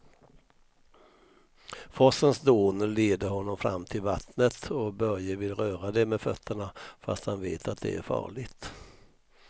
Forsens dån leder honom fram till vattnet och Börje vill röra vid det med fötterna, fast han vet att det är farligt.